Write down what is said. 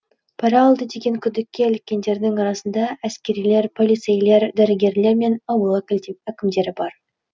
пара алды деген күдікке іліккендердің арасында әскерилер полицейлер дәрігерлер мен ауыл әкімдері бар